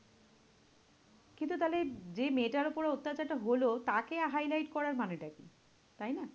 কিন্তু তাহলে যেই মেয়েটার উপর অত্যাচারটা হলো তাকে highlight করার মানেটা কি? তাই না?